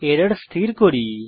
error ঠিক করি